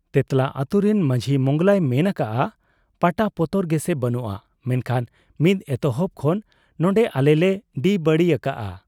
ᱛᱮᱸᱛᱞᱟ ᱟᱹᱛᱩᱨᱤᱱ ᱢᱟᱹᱡᱷᱤ ᱢᱚᱸᱜᱽᱞᱟᱭ ᱢᱮᱱ ᱟᱠᱟᱜ ᱟ ᱯᱟᱴᱟ ᱯᱚᱛᱚᱨ ᱜᱮᱥᱮ ᱵᱟᱹᱱᱩᱜ ᱟ, ᱢᱮᱱᱠᱷᱟᱱ ᱢᱤᱫ ᱮᱛᱚᱦᱚᱵ ᱠᱷᱚᱱ ᱱᱚᱱᱰᱮ ᱟᱞᱮᱞᱮ ᱰᱤᱵᱟᱹᱲᱤ ᱟᱠᱟᱜ ᱟ ᱾